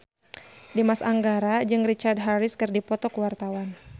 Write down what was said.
Dimas Anggara jeung Richard Harris keur dipoto ku wartawan